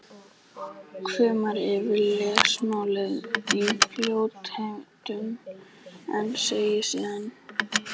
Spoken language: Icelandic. Hvimar yfir lesmálið í fljótheitum en segir síðan